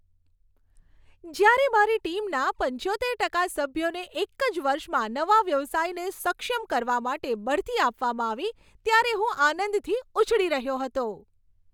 જ્યારે મારી ટીમના પંચોતેર ટકા સભ્યોને એક જ વર્ષમાં નવા વ્યવસાયને સક્ષમ કરવા માટે બઢતી આપવામાં આવી ત્યારે હું આનંદથી ઉછળી રહ્યો હતો.